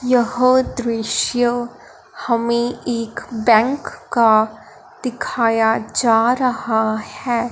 यह दृश्य हमें एक बैंक का दिखाया जा रहा है।